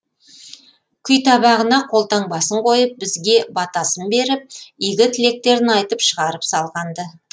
күйтабағына қолтаңбасын қойып бізге батасын беріп игі тілектерін айтып шығарып салған ды